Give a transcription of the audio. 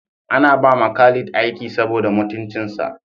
An ba ma Khalid aiki saboda mutuncinsa